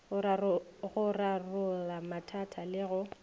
go rarolla mathata le go